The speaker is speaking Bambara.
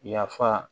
Yafa